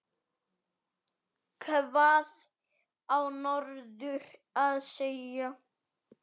Hvað á norður að segja?